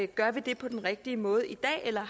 gør det på den rigtige måde i dag eller